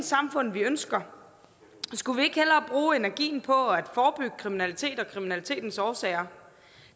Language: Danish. samfund vi ønsker skulle vi ikke hellere bruge energien på at forebygge kriminalitet og kriminalitetens årsager